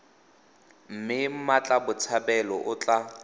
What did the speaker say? mme mmatla botshabelo o tla